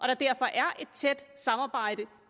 der derfor er et tæt samarbejde